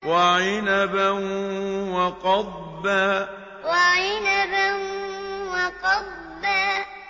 وَعِنَبًا وَقَضْبًا وَعِنَبًا وَقَضْبًا